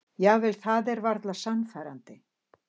Jafnvel það er varla sannfærandi.